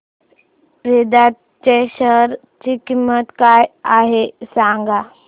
वेदांत च्या शेअर ची किंमत काय आहे सांगा